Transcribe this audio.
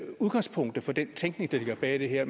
udgangspunktet for den tænkning der ligger bag det her